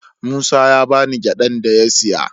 Musa ya ba ni gyadan da ya siya.